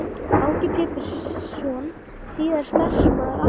Áki Pétursson, síðar starfsmaður á Hagstofu